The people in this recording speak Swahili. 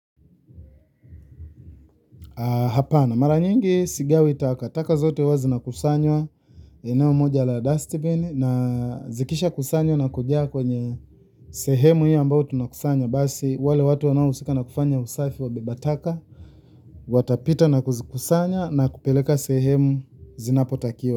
Hapana mara nyingi sigawi takataka zote huwa zinakusanywa eneo moja la dustbin na zikisha kusanywa na kujaa kwenye sehemu hiyo ambayo tunakusanya basi wale watu wanao husika na kufanya usafi wabeba taka watapita na kuzikusanya na kupeleka sehemu zinapotakiwa.